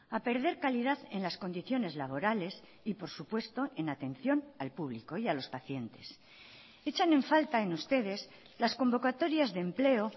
a perder calidad en las condiciones laborales y por supuesto en atención al público y a los pacientes echan en falta en ustedes las convocatorias de empleo